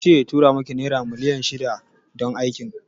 Kince ya tura miki naira miliyan ɗari shida don Aikin?